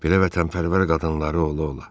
Belə vətənpərvər qadınları ola-ola.